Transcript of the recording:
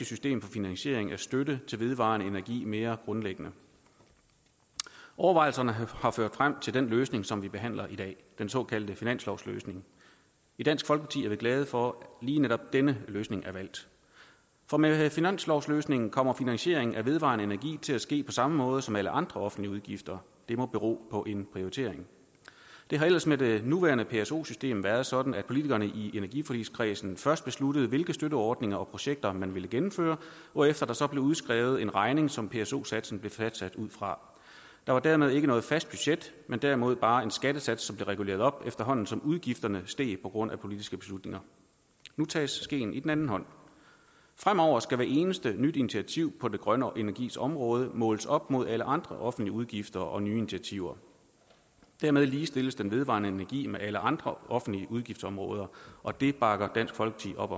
system for finansiering af støtte til vedvarende energi mere grundlæggende overvejelserne har ført frem til den løsning som vi behandler i dag den såkaldte finanslovsløsning i dansk folkeparti er vi glade for at lige netop denne løsning er valgt for med finanslovsløsningen kommer finansiering af vedvarende energi til at ske på samme måde som alle andre offentlige udgifter det må bero på en prioritering det har ellers med det nuværende pso system været sådan at politikerne i energiforligskredsen først besluttede hvilke støtteordninger og projekter man ville gennemføre hvorefter der så blev udskrevet en regning som pso satsen blev fastsat ud fra der var dermed ikke noget fast budget men derimod bare en skattesats som blev reguleret op efterhånden som udgifterne steg på grund af politiske beslutninger nu tages skeen i den anden hånd fremover skal hvert eneste nye initiativ på den grønne energis område måles op mod alle andre offentlige udgifter og nye initiativer dermed ligestilles den vedvarende energi med alle andre offentlige udgiftsområder og det bakker dansk folkeparti